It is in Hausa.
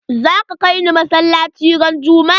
Zaka kai ni masalaci ran juma'a?